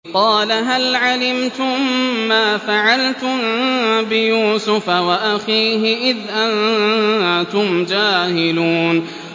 قَالَ هَلْ عَلِمْتُم مَّا فَعَلْتُم بِيُوسُفَ وَأَخِيهِ إِذْ أَنتُمْ جَاهِلُونَ